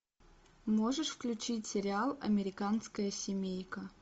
можешь включить сериал американская семейка